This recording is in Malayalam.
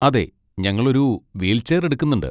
അതെ, ഞങ്ങൾ ഒരു വീൽചെയർ എടുക്കുന്നുണ്ട്.